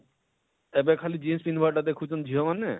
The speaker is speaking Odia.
ଏବେ ଖାଲି jins ପିନ୍ଧବାର ଟା ଦେଖୁଛନ ଝିଅ ମାନେ,